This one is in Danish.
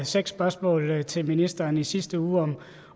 seks spørgsmål til ministeren i sidste uge